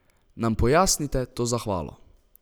Nam pojasnite to zahvalo?